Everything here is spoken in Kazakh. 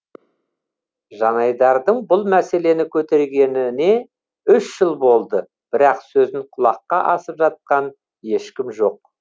жанайдардың бұл мәселені көтергеніне үш жыл болды бірақ сөзін құлаққа асып жатқан ешкім жоқ